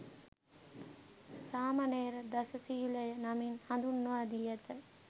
සාමණේර දස ශීලය නමින් හඳුන්වා දී ඇත.